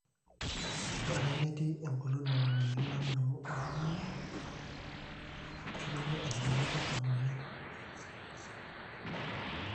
ore ake metii eng'olon nena mweyiaritin naalimu oltung'ani, eitodolu enetabaikia emueyian